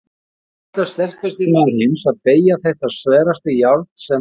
Og nú ætlar sterkasti maður heims að BEYGJA ÞETTA SVERASTA JÁRN SEM